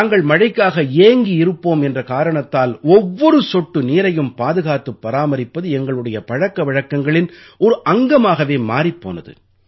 நாங்கள் மழைக்காக ஏங்கி இருப்போம் என்ற காரணத்தால் ஒவ்வொரு சொட்டு நீரையும் பாதுகாத்துப் பராமரிப்பது எங்களுடைய பழக்க வழக்கங்களின் ஒரு அங்கமாகவே மாறிப் போனது